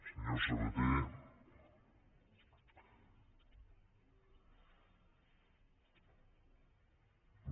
senyor sabaté no